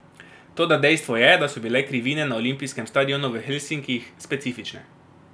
Toda dejstvo je, da so bile krivine na olimpijskem stadionu v Helsinkih specifične.